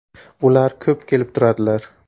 - Ular ko‘p kelib turadilar.